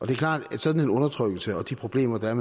klart at en sådan undertrykkelse og de problemer der